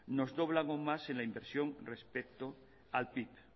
nos doblan algo más en la inversión respecto al pib